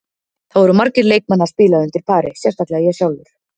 Það voru margir leikmenn að spila undir pari, sérstaklega ég sjálfur.